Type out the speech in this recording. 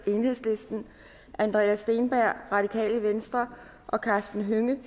andreas steenberg og karsten hønge